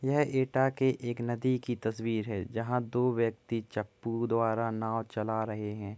यह एटा के एक नदी की तस्वीर है जहाँं पर दो व्यक्ति चप्पू द्वारा नाव चला रहे हैं।